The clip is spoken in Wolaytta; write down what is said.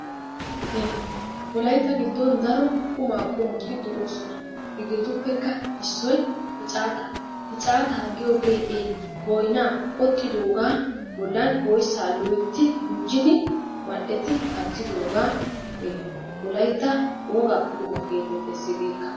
Wolaytta giddon daro qumaa qoommoti de"oosona. Hegeetuppekka issoy picaataa. picaataa giyoogee ee boynaa qoxxidoogaa bollaan oyssaa loytti guujjidi mal"etti kaattidoogaa wolaytta wogaa qummaa getettees ikka.